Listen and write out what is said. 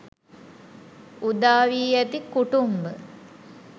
උදා වී ඇති කුටුම්භ